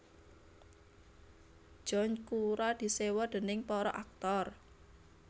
John Cura diséwa déning para aktor